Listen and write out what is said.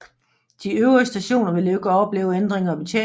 De øvrige stationer vil ikke opleve ændringer i betjeningen